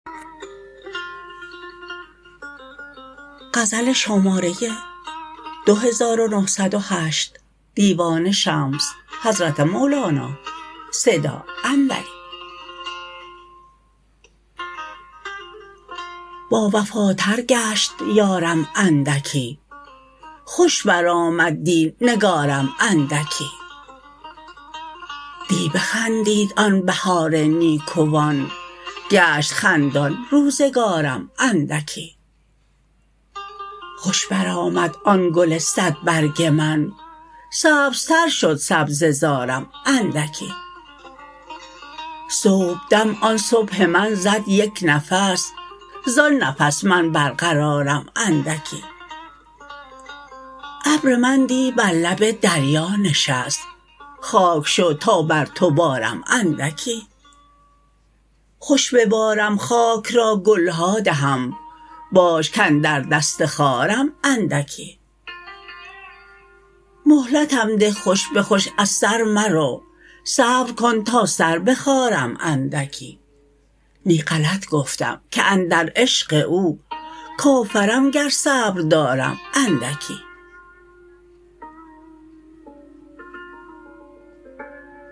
باوفاتر گشت یارم اندکی خوش برآمد دی نگارم اندکی دی بخندید آن بهار نیکوان گشت خندان روزگارم اندکی خوش برآمد آن گل صدبرگ من سبزتر شد سبزه زارم اندکی صبحدم آن صبح من زد یک نفس زان نفس من برقرارم اندکی ابر من دی بر لب دریا نشست خاک شو تا بر تو بارم اندکی خوش ببارم خاک را گل ها دهم باش کاندر دست خارم اندکی مهلتم ده خوش به خوش از سر مرو صبر کن تا سر بخارم اندکی نی غلط گفتم که اندر عشق او کافرم گر صبر دارم اندکی